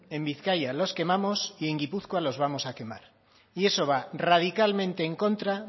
en bizkaia los quemamos y en gipuzkoa los vamos a quemar y eso va radicalmente en contra